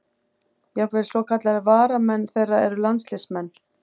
Jafnvel svokallaðir varamenn þeirra eru landsliðsmenn.